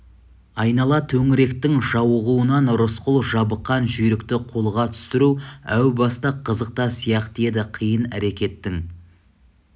айнала төңіректің жауығуынан рысқұл жабыққан жүйрікті қолға түсіру әу баста қызық та сияқты еді қиын әрекеттің